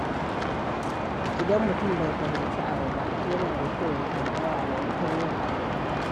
Idan mutum bai fahimci abu ba, yana da kyau ya tambaya maimakon yin abu da ka.